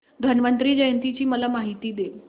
धन्वंतरी जयंती ची मला माहिती दे